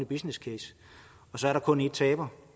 business case og så er der kun én taber